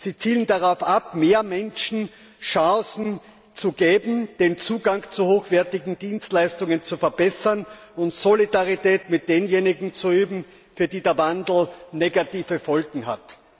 Sie zielen darauf ab, mehr Menschen Chancen zu geben, den Zugang zu hochwertigen Dienstleistungen zu verbessern und Solidarität mit denjenigen zu üben, für die der Wandel negative Folgen hat.